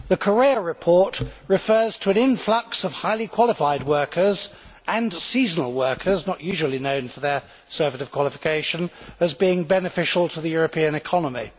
The Correia de Campos report refers to an influx of highly qualified workers and seasonal workers not usually known for their surfeit of qualifications as being beneficial to the European economy.